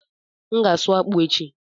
M ga-asụ akpụ echi.